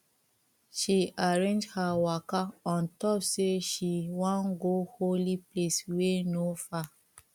she arrange her waka on top say she wan go holy place wey no far